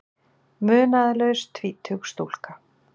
Munaðarlaus tvítug stúlka.